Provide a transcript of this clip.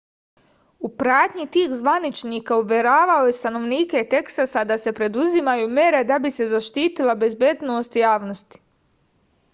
u pratnji tih zvaničnika uveravao je stanovnike teksasa da se preduzimaju mere da bi se zaštitila bezbednost javnosti